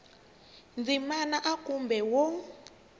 ndzimana a kumbe b wo